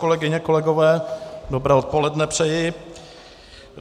Kolegyně, kolegové, dobré odpoledne přeji.